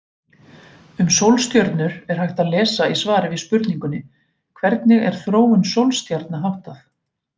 Um sólstjörnur er hægt að lesa í svari við spurningunni Hvernig er þróun sólstjarna háttað?